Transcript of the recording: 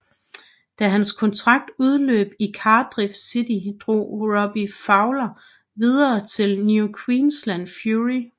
Da hans kontrakt udløb i Cardiff City drog Robbie Fowler videre til New Queensland Fury